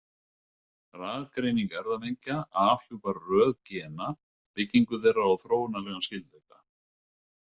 Raðgreining erfðamengja afhjúpar röð gena, byggingu þeirra og þróunarlegan skyldleika.